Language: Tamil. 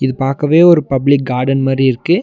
பாக்கவே ஒரு பப்ளிக் கார்டன் மாரி இருக்கு.